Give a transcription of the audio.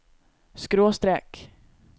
skråstrek